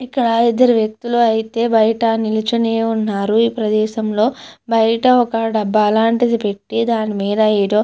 ఇక్కడ ఇద్దరు వ్యక్తులు అయితే బయట నిలుచునే ఉన్నారు ఈ ప్రదేశంలో బయట ఒక డబ్బా అలాంటిది పెట్టి దాని మీద ఏదో